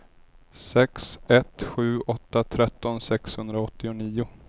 sex ett sju åtta tretton sexhundraåttionio